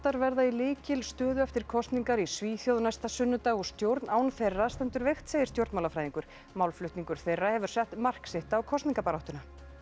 verða í lykilstöðu eftir kosningar í Svíþjóð næsta sunnudag og stjórn án þeirra stendur veikt segir stjórnmálafræðingur málflutningur þeirra hefur sett mark sitt á kosningabaráttuna